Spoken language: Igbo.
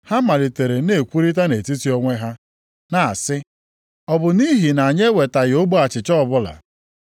Ha malitere na-ekwurịta nʼetiti onwe ha, na-asị, ọ bụ nʼihi na anyị ewetaghị ogbe achịcha ọbụla.